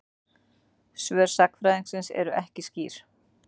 Svör sagnfræðingsins eru ekki skýr.